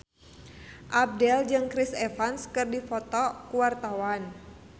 Abdel jeung Chris Evans keur dipoto ku wartawan